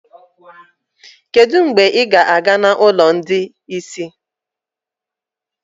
Kedu mgbe ị ga-aga n'ụlọ ndị ìsì?